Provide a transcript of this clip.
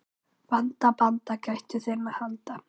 Vanda, banda, gættu þinna handa.